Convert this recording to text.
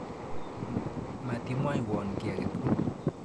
Mati mwoiwon ki ake tukul.